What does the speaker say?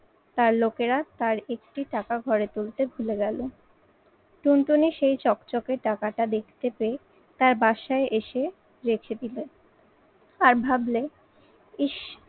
তার লোকেরা তার একটি টাকা ঘরে তুলতে ভুলে গেলো। টুনটুনি সেই চকচকে টাকাটা দেখতে পেয়ে তার বাসায় এসে রেখে দিলো। আর ভাবলে ইস